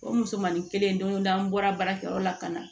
O musomanin kelen don o don an bɔra baarakɛyɔrɔ la ka na